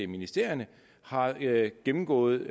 ministerierne har gennemgået